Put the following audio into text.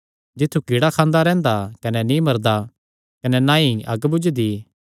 जित्थु कीड़ा खांदा रैंह्दा कने नीं मरदा कने ना ई अग्ग बुझदी